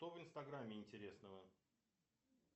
что в инстаграмме интересного